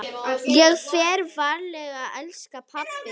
Ég fer varlega elsku pabbi.